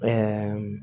Ɛɛ